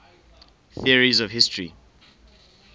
theories of history